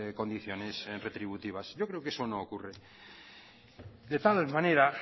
condiciones retributivas yo creo que eso no ocurre de tal manera